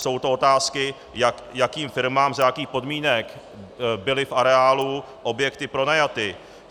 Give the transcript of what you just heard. Jsou to otázky, jakým firmám, za jakých podmínek byly v areálu objekty pronajaty.